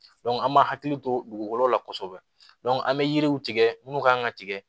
an m'an hakili to dugukolo la kɔsɔbɛ an bɛ yiriw tigɛ munnu ka kan ka tigɛ